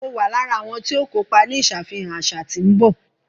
Mọ wà lára awọn tìọ kọpà ní ìṣàfihàn aṣa tí n bọ